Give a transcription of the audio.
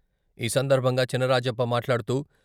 ఈ సందర్భంగా చినరాజప్ప మాట్లాడుతూ....